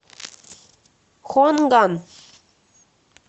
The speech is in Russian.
хуанган